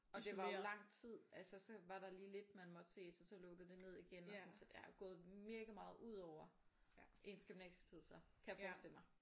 Og det var jo lang tid altså så var der lige lidt man måtte ses og så lukkede det ned igen sådan så det er jo gået mega meget ud over ens gymnasietid så. Kan jeg forestille mig